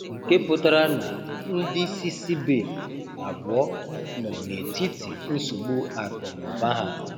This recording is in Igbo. Nke pụtara na ndị isi Sebate abụọ nọ n'etiti nsogbu akụ na ụba ha.